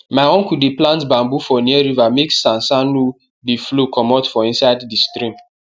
my uncle dey plant bamboo for near river make sand sand no dey flow comot for inside di stream